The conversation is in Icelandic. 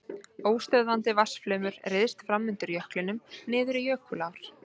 Óstöðvandi vatnsflaumur ryðst fram undir jöklinum niður í jökulár.